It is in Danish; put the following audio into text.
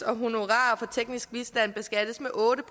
og honorarer for teknisk bistand beskattes med otte